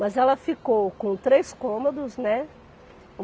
Mas ela ficou com três cômodos, né?